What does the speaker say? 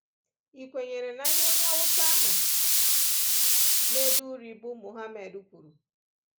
Ị̀kwenyere n'ihe onye Hausa ahụ na-ede uri bụ́ Mohammad kwuru?